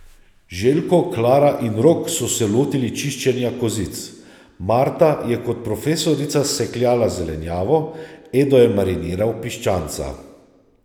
Željko, Klara in Rok so se lotili čiščenja kozic, Marta je kot profesorica sekljala zelenjavo, Edo je mariniral piščanca ...